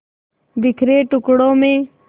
बिखरे टुकड़ों में